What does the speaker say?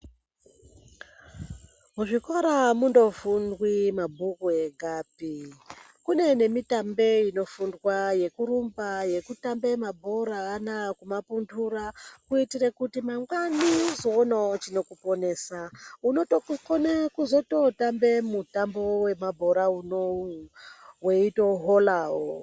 Muzvikora amungofundwi mabhuku egapi kune nemitambo inofundwa yekurumba yekutamba mabhora anawa kumapundura kuitira kuti mangwani uzoona chekuponesa unokona kutotamba mitambo wemabhora unowu weitohorawo.